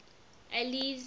alice